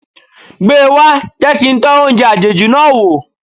Gbe wá, jẹ́ kí n tọ́ oúnjẹ àjèjì náà wò.